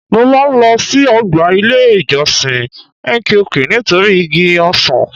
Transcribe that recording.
Mo máa ń lo sí ọgbà ilé ìjọsìn nqq nítorí igi ọsàn.